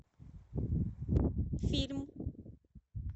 фильм